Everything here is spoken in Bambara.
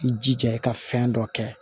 I jija i ka fɛn dɔ kɛ